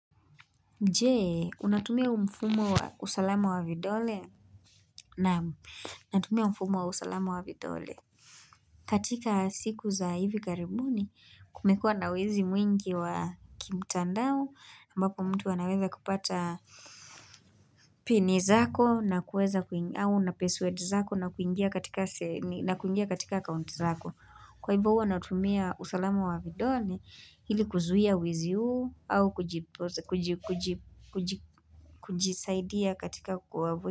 Je, unatumia mfumo wa usalama wa vidole naam natumia mfumo wa usalama wa vidole katika siku za hivi karibuni kumekua na wezi mwingi wa kimtandao ambako mtu wanaweza kupata Pini zako na kueza kuingia au na paswadi zako na kuingia katika na kuingia katika akaunti zako Kwa hivyo huwa natumia usalama wa vidole ili kuzuia wizi huu au kujipoze kujisaidia katika.